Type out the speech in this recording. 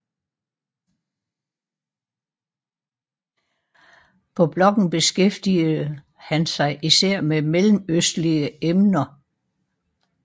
På bloggen beskæftigede han sig især med mellemøstlige emner